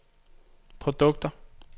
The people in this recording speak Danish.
produkter